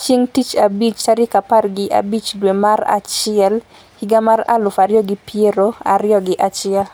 chieng tich abich tarik apar gi abich dwe mar achiel higa mar aluf ariyo gi piero ariyo gi achiel